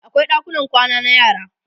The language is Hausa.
akwai ɗakunan kwana na yara